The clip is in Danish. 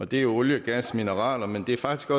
det er olie gas og mineraler men det er faktisk